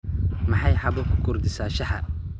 Maxay xabo ku kordhisaa shaaha?